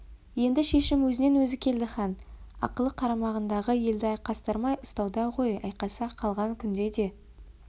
енді шешім өзінен өзі келді хан ақылы қарамағындағы елді айқастырмай ұстауда ғой айқаса қалған күнде де